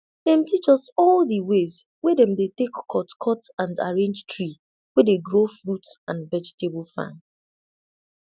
dem teach us all the ways wey dem dey take cut cut and arrange tree wey dey grow fruit and vegetable farm